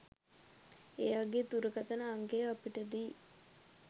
එයාගෙ දුරකථන අංකය අපිට දී